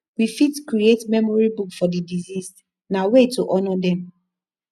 we fit create memory book for di deceased na way to honor dem